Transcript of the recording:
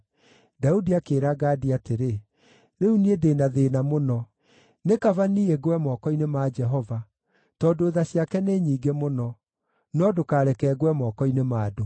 Daudi akĩĩra Gadi atĩrĩ, “Rĩu niĩ ndĩ na thĩĩna mũno. Nĩ kaba niĩ ngwe moko-inĩ ma Jehova, tondũ tha ciake nĩ nyingĩ mũno; no ndũkareke ngwe moko-inĩ ma andũ.”